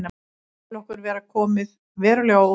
Ég tel okkur geta komið verulega á óvart.